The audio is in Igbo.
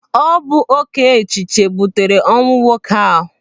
Ọ bụ oké echiche butere ọnwụ nwoke ahụ.